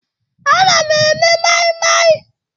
Ana m eme mai-mai.